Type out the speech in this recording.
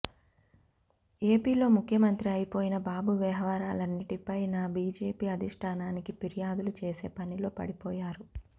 ఏపీలో ముఖ్యమంత్రి అయిపోయిన బాబు వ్యవహారాలన్నింటిపైనా బీజేపీ అధిష్టానానికి ఫిర్యాదులు చేసేపనిలో పడిపోయారు